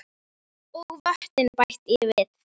Og vötnin bætti ég við.